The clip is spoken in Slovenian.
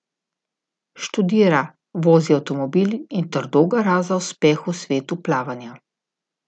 Študira, vozi avtomobil in trdo gara za uspeh v svetu plavanja.